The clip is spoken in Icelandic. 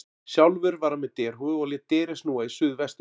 Sjálfur var hann með derhúfu og lét derið snúa í suð vestur.